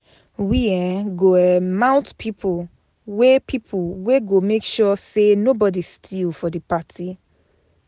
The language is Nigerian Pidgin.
We um go um mount pipo wey pipo wey go make sure sey nobodi steal for di party.